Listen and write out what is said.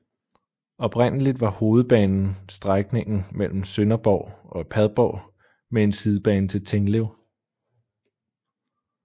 Oprindeligt var hovedbanen strækningen mellem Sønderborg og Padborg med en sidebane til Tinglev